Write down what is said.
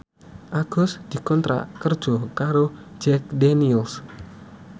Agus dikontrak kerja karo Jack Daniels